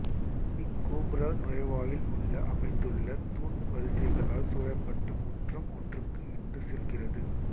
இக் கோபுர நுழைவாயில் உள்ளே அமைந்துள்ள தூண் வரிசைகளால் சூழப்பட்ட முற்றம் ஒன்றுக்கு இட்டுச் செல்கிறது